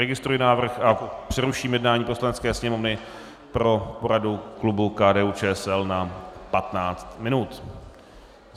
Registruji návrh a přeruším jednání Poslanecké sněmovny pro poradu klubu KDU-ČSL na 15 minut.